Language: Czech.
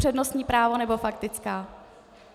Přednostní právo, nebo faktická?